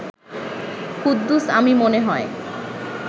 কুদ্দুস আমি মনে হয়